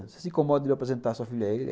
Você se incomoda de eu apresentar sua filha a ele?